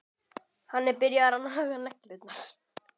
Hann er byrjaður að naga neglurnar.